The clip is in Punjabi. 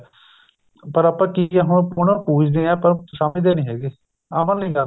ਪਰ ਆਪਾਂ ਕੀ ਆ ਹੁਣ ਪੂਜਦੇ ਆ ਪਰ ਸਮਝਦੇ ਨੀ ਹੈਗੇ ਅਮਲ ਨੀ ਕਰਨਾ